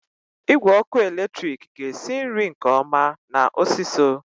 Igwe ọkụ eletrik ga-esi nri nke ọma na osiso.